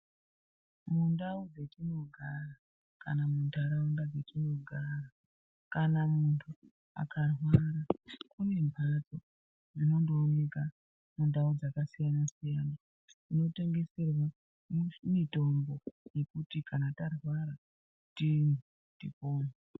Mundau dzetinogara kana muntaraunda dzetinogara, kana muntu akarwara kune mbatso zinondoonekwa mundau dzakasiyana-siyana dzinotengeserwa mitombo yekuti kana tarwara tipone.